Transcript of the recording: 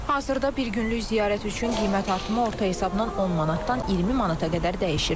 Hazırda bir günlük ziyarət üçün qiymət artımı orta hesabla 10 manatdan 20 manata qədər dəyişir.